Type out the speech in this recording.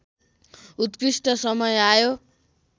उत्कृष्ठ समय आयो